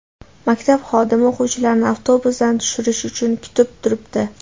Maktab xodimi o‘quvchilarni avtobusdan tushirish uchun kutib turibdi.